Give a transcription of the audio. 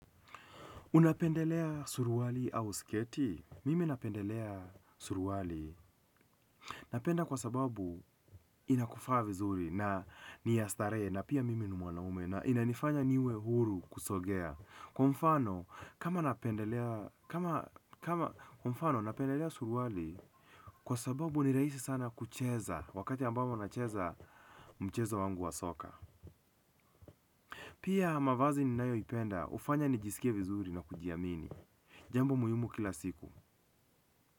Unapendelea suruali au sketi? Mimi napendelea suruali. Napenda kwa sababu inakufaa vizuri na ni ya starehe na pia mimi ni mwanaume na inanifanya niwe huru kusogea. Kwa mfano kama napendelea kwa mfano napendelea suruali kwa sababu ni rahisi sana kucheza wakati ambapo nacheza mchezo wangu wa soka pia mavazi ninayoipenda, hufanya nijisikie vizuri na kujiamini. Jambo muhimu kila siku.